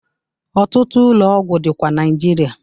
Ọtụtụ ụlọ ọgwụ dịkwa Naịjirịa.